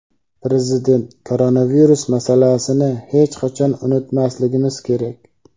Prezident: Koronavirus masalasini hech qachon unutmasligimiz kerak.